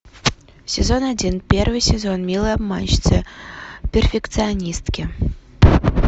сезон один первый сезон милые обманщицы перфекционистки